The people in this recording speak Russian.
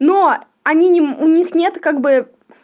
но они у них нет как бы